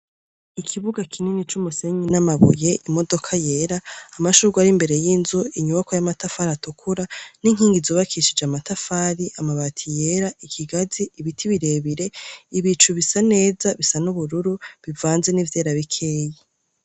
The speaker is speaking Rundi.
Ikibuga kinini c'umusenyi n'amabuye imodoka yera amashurwa ari imbere y'inzu inyubako y'amatafali atukura n'inkingi zubakishije amatafali amabati yera ikigazi ibiti birebire ibicu bisa neza bisa n'ubururu bivanze n'ivyera bikeyi.